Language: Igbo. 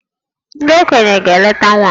Ndị okenye ga-eleta nwa m